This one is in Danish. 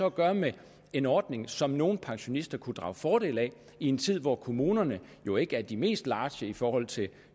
at gøre med en ordning som nogle pensionister kunne drage fordel af i en tid hvor kommunerne jo ikke er de mest large i forhold til